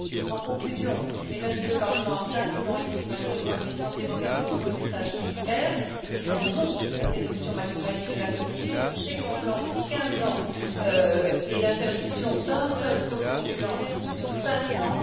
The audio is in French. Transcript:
En conclusion, et même si le Parlement a simplement ici malheureusement une puissance d'évocation, notre message est clair nous disons non à cette option maximaliste de la Commission, à ce chèque en blanc donné pour quinze ans et à l'interdiction d'un seul coformulant sur cinq cents.